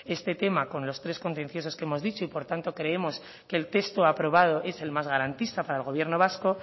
este tema con las tres contenciosas que hemos dicho y por tanto creemos que el texto aprobado es el más garantista para el gobierno vasco